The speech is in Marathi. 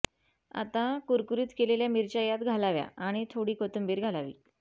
आता कुरकुरीत केलेल्या मिरच्या यात घालाव्या आणि थोडी कोथिंबीर घालावी